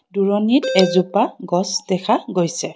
দূৰণিত এজোপা গছ দেখা গৈছে।